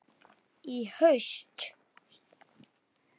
Í haust?